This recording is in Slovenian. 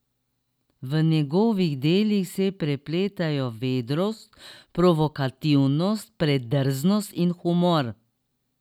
V njegovih delih se prepletajo vedrost, provokativnost, predrznost in humor.